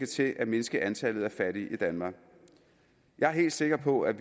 til at mindske antallet af fattige i danmark jeg er helt sikker på at